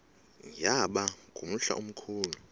yaba ngumhla omkhulu